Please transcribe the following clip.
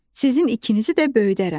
Sizin ikinizi də böyüdərəm.